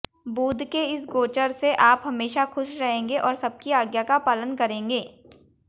बुध के इस गोचर से आप हमेशा खुश रहेंगे और सबकी आज्ञा का पालन करेंगे